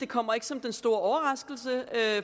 kommer som den store overraskelse